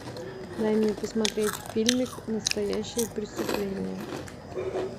дай мне посмотреть фильмик настоящее преступление